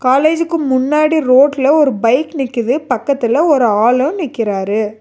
காலேஜுக்கு முன்னாடி ரோட்ல ஒரு பைக் நிக்குது பக்கத்துல ஒரு ஆளு நிக்கிறாரு.